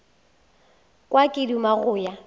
kwa ke duma go ya